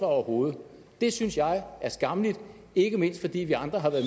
overhovedet det synes jeg er skammeligt ikke mindst fordi vi andre har været